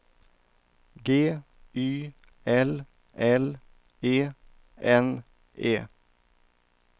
G Y L L E N E